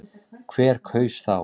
Hver kaus þá?